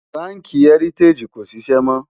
bánkì heritagií kò ṣiṣẹ mó